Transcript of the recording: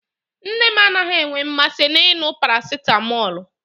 Nne m anaghị enwe mmasị n'ịṅụ parasịtamọlụ.